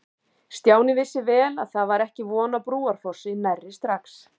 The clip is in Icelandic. Stjáni vissi vel að það var ekki von á Brúarfossi nærri strax.